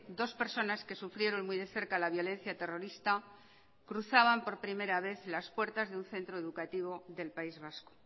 dos personas que sufrieron muy de cerca la violencia terrorista cruzaban por primera vez las puertas de un centro educativo del país vasco